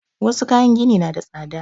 Wassu kayan gini na da tsada